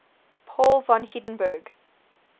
paul von hindenburg